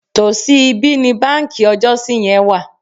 Tòsí ibí ni báǹkì ọjọ́si yẹn wà.